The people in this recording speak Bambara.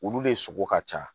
Olu de sogo ka ca